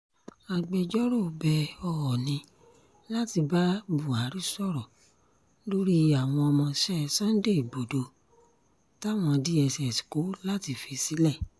agbẹjọ́rò bẹ oọnì láti bá buhari sọ̀rọ̀ lórí àwọn ọmọọṣẹ́ sunday igbodò táwọn dss kọ láti fi sílẹ̀